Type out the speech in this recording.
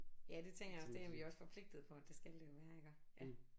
Ja det tænker jeg også det er I også forpligtet på at det skal det jo være iggå ja